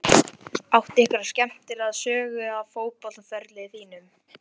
Áttu einhverja skemmtilega sögu af fótboltaferli þínum?